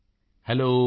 Modi ji hello